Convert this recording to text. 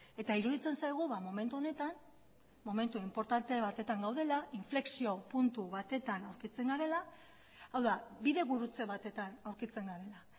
eta iruditzen zaigu momentu honetan momentu inportante batetan gaudela inflexio puntu batetan aurkitzen garela hau da bide gurutze batetan aurkitzen garela